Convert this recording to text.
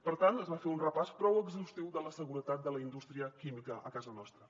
per tant es va fer un repàs prou exhaustiu de la seguretat de la indústria química a casa nostra